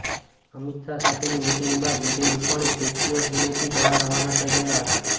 અમિત શાહ સાથેની મિટિંગ બાદ Vijay Rupani Statue of Unity જવા રવાના થઈ ગયા હતા